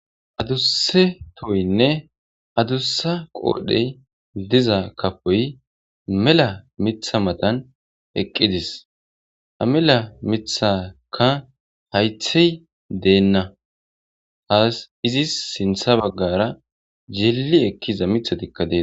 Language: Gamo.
Adusa tohiyne adusa qodhey diza kafoy mela mata matan eqides ha mela mithaka hayti dena asi izis sinta bagara yili ekiza mithatika de'etes.